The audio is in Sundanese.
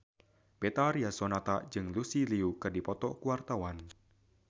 Betharia Sonata jeung Lucy Liu keur dipoto ku wartawan